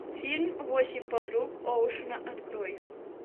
фильм восемь подруг оушена открой